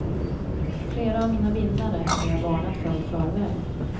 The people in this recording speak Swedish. Flera av mina vinnare hade jag varnat för i förväg.